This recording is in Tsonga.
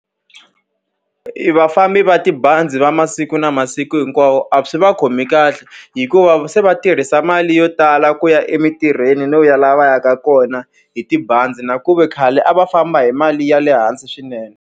Vafambi va tibazi va masiku na masiku hinkwawo a swi va khomi kahle, hikuva se va tirhisa mali yo tala ku ya emintirhweni no ya laha va yaka kona hi tibazi. Na ku ve khale a va famba hi mali ya le hansi swinene.